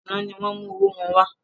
Àná ni wọn mú owó wọn wá